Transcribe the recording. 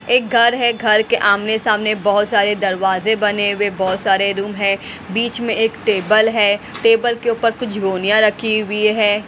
एक घर है घर के आमने सामने बहोत सारे दरवाजे बने हुए बहोत सारे रूम है बीच में एक टेबल है टेबल के ऊपर कुछ रखी हुई है।